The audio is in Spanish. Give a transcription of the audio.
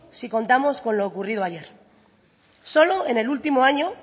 si contamos con lo ocurrido ayer solo en el último año